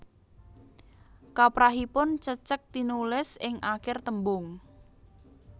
Kaprahipun cecek tinulis ing akir tembung